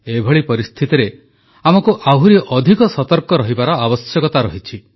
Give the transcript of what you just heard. ଏଭଳି ପରିସ୍ଥିତିରେ ଆମକୁ ଆହୁରି ଅଧିକ ସତର୍କ ରହିବାର ଆବଶ୍ୟକତା ରହିଛି